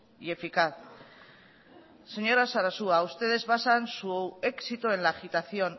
y eficaz señora sarasua ustedes basan su éxito en la agitación